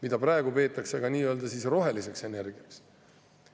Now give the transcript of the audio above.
Seda peetakse praegu ka nii-öelda roheliseks energiaks.